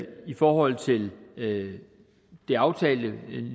forhold til det det aftalte